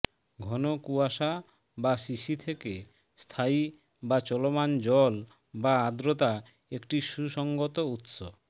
ঘন কুয়াশা বা শিশি থেকে স্থায়ী বা চলমান জল বা আর্দ্রতা একটি সুসংগত উত্স